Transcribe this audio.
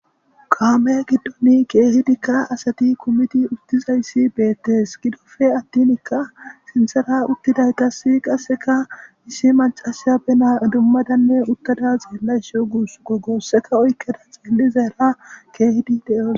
Kaame giddoni keehidikka asati kumiti uttizayssi beettes. Gidoppe attinikka sinthara uttidaytasi qasseka issi macasiya be naa idummadanne uttada xeellayshe guussuko goosseka oykkeda xeellizaara keehidi de7os.